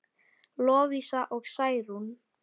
Lovísa og Særún.